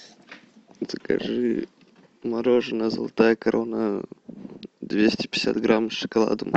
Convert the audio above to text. закажи мороженое золотая корона двести пятьдесят грамм с шоколадом